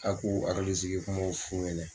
A k'u haklisigikumaw f'u ɲɛna.